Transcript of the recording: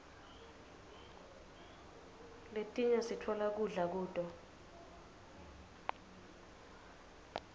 letinye sitfola kudla kuto